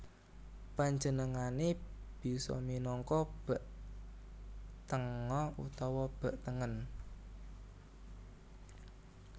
Panjenengané bisa minangka bek tengah utawa bek tengen